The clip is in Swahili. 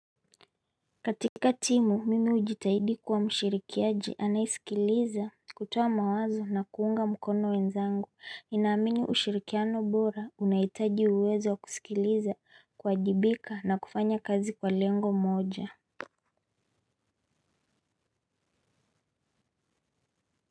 Katika timu mimi hujitahidi kuwa mshirikiaji anayesikiliza kutoa mawazo na kuunga mkono wenzangu. Ninaamini ushirikiano bora unahitaji uwezo wa kusikiliza kuwajibika na kufanya kazi kwa lengo moja.